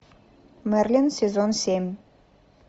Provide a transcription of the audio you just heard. мерлин сезон семь